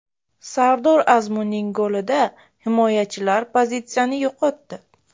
Sardor Azmunning golida himoyachilar pozitsiyani yo‘qotdi?